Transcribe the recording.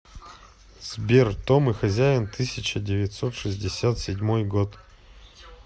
сбер том и хозяин тысяча девятьсот шестьдесят седьмой год